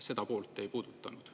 Seda poolt te ei puudutanud.